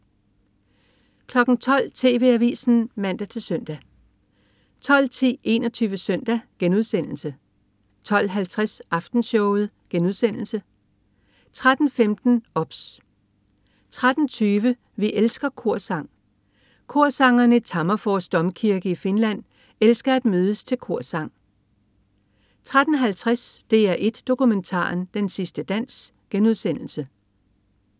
12.00 TV Avisen (man-søn) 12.10 21 Søndag* 12.50 Aftenshowet* 13.15 OBS 13.20 Vi elsker korsang. Korsangerne i Tammerfors domkirke i Finland elsker at mødes til korsang 13.50 DR1 Dokumentaren. Den sidste dans*